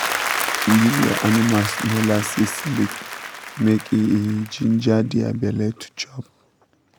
give your animals molasses lick make e e ginger their belle to chop